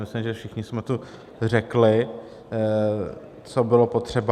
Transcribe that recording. Myslím, že všichni jsme tu řekli, co bylo potřeba.